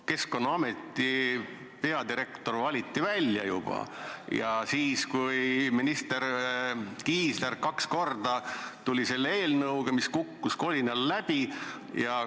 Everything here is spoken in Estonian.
Keskkonnaameti peadirektor valiti juba välja ja siis alles tuli minister Kiisler kaks korda meie ette eelnõuga, mis kukkus kolinal läbi.